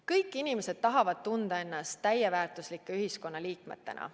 Kõik inimesed tahavad tunda ennast täisväärtuslike ühiskonnaliikmetena.